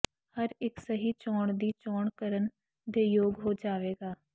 ਹਰ ਇੱਕ ਸਹੀ ਚੋਣ ਦੀ ਚੋਣ ਕਰਨ ਦੇ ਯੋਗ ਹੋ ਜਾਵੇਗਾ